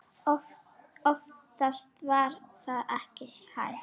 Oftast var það ekki hægt.